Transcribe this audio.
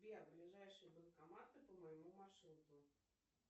сбер ближайшие банкоматы по моему маршруту